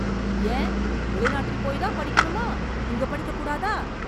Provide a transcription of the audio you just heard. ஏன் வெளிநாட்டில் போய் தான் படிக்கணுமா இங்கப் படிக்க கூடாதா?